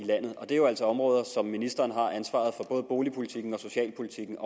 landet og det er jo altså områder som ministeren har ansvaret for både boligpolitikken og socialpolitikken